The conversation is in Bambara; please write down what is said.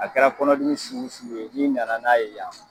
A kɛra kɔnɔdimi sugu o sugu ye ni nana n'a ye yan